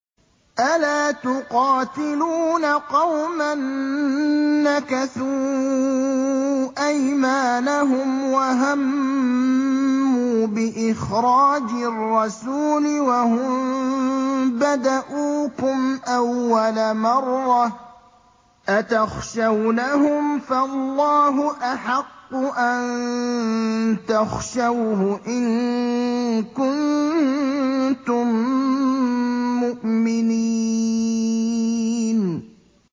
أَلَا تُقَاتِلُونَ قَوْمًا نَّكَثُوا أَيْمَانَهُمْ وَهَمُّوا بِإِخْرَاجِ الرَّسُولِ وَهُم بَدَءُوكُمْ أَوَّلَ مَرَّةٍ ۚ أَتَخْشَوْنَهُمْ ۚ فَاللَّهُ أَحَقُّ أَن تَخْشَوْهُ إِن كُنتُم مُّؤْمِنِينَ